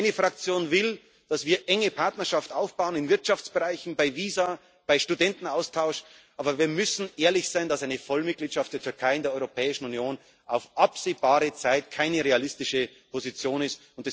legen. Meine Fraktion will, dass wir eineenge Partnerschaft aufbauen in Wirtschaftsbereichen, bei Visa, beim Studentenaustausch aber wir müssen ehrlich sein, dass eine Vollmitgliedschaft der Türkei in der Europäischen Union auf absehbare Zeit keine realistische Position